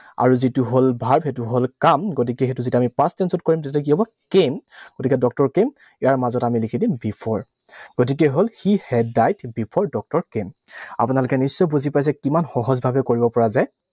আৰু যিটো হল verb, সেইটো হল কাম। গতিকে সেইটো যেতিয়া আমি past tense ত কৰিম, তেতিয়া কি হব? Came, গতিকে doctor came, ইয়াৰ মাজত আমি লিখি দিম before । গতিকে হল he had died before doctor came আপোনালোকে নিশ্চয় বুজি পাইছে কিমান সহজভাৱে কৰিব পৰা যায়।